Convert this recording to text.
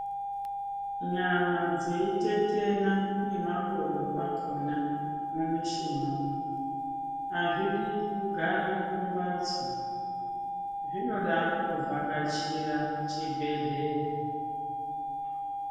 Nyama dzeitetena nemakodo akona mumishuna umwu, hazvidi kugara kumbatso, zvinoda kuvhakachira chibhedhleya.